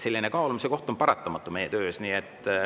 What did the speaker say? Selline kaalumise vajadus on paratamatu meie töös.